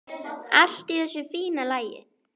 Allt í þessu fína lagi.